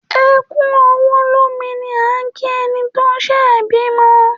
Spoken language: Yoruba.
‘E̩ kú o̩wó̩ lómi’ ni à ń kí e̩ni tó s̩è̩ bímo